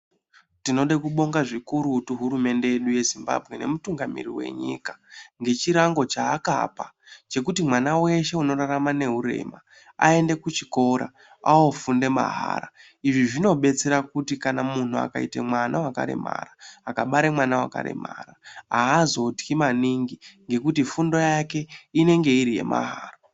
Tinoda kubonga zvikurutu hurumende yeZimbabwe nemutungamiriri wenyika ngechirango chaakapa kuti mwana weshe unorarama neurema aende kuchikora ofunda mahara. Zvinobatsira kuti kana muntu akaita mwana wakaremara, akabare mwana wakaremara haazotyi maningi ngekuti fundo yake inenge iri yemahara.